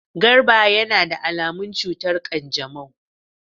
Garba yana da alamun cutar kanjamau.